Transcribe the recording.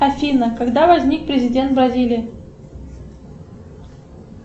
афина когда возник президент бразилии